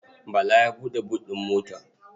Bala ya buɗe but ɗin mota.